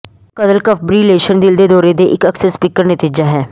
ਕਦਲ fibrillation ਦਿਲ ਦੇ ਦੌਰੇ ਦੇ ਇੱਕ ਅਕਸਰ ਸਪੀਕਰ ਨਤੀਜਾ ਹੈ